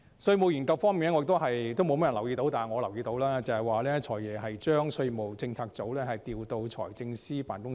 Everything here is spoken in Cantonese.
稅務研究方面，沒有多少人留意到，但我留意到，"財爺"將稅務政策組調配到財政司司長辦公室內。